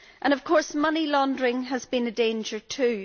Of course, money laundering has been a danger too.